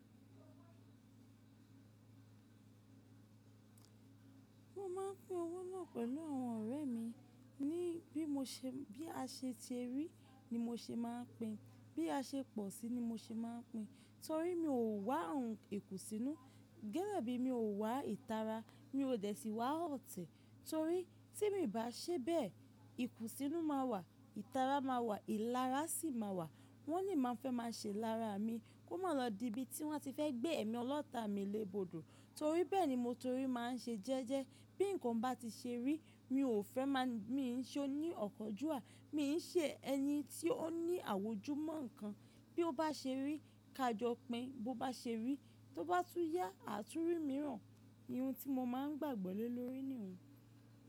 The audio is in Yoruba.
Mo máa ń pín owó náà pẹ̀lú àwọn ọ̀rẹ́ mi ní bí mo ṣe, bí a ṣe ti rí ni mo ṣe máa ń pín, bí a ṣe pọ̀ sí ni mo ṣe máa ń pín torí mi ò wá ohun ikú sínú. Gẹ́gẹ́ bí mi ò wá ìtara, mi ò dẹ̀ síi wá ọ̀tẹ̀ torí tí mi ò bá ṣe bẹ́ẹ̀, ikún sínú máa wà, ìtara máa wà, ìlara sì máa wà. Wọ́n ni màá fẹ́ máa ṣe lára mi kó má lọ díbi tí wọ́n ti fẹ́ gbé ẹ̀ mi ọlọ́ta mi lé bodò torí bẹ́ẹ̀ ni mo torí máa ń ṣe jẹ́jẹ́. Bí nǹkan bá ti ṣe rí mi ò fẹ́ má, mi ń ṣe ó ní ọ̀kanjúwa, mi ń ṣe ẹni tí ó ní àwòjú mọ́ nǹkan. Bí ó bá ṣe rí ká jọ pín, bó bá ṣe rí tó bá tún yá, àtúnrí mìíràn, irun tí mo máa ń gbàgbọ́ lé lórí nìyẹn.